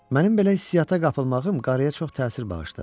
Mənim belə hissiyyata qapılmağım qarıya çox təsir bağışladı.